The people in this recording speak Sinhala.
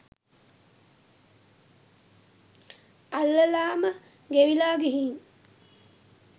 අල්ලලාම ගෙවිලා ගිහින්.